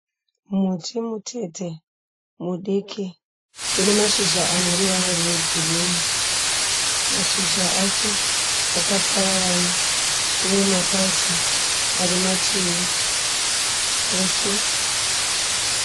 Muti mutete mudiki unemashizha aneruvara rwegirini. Mashizha acho akapararana uye mapazazi arimativi ese.